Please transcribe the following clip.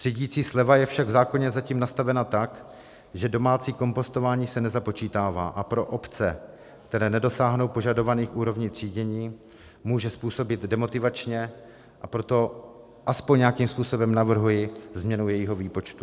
Třídicí sleva je však v zákoně zatím nastavena tak, že domácí kompostování se nezapočítává, a pro obce, které nedosáhnout požadovaných úrovní třídění, může působit demotivačně, a proto aspoň nějakým způsobem navrhuji změnu jejího výpočtu.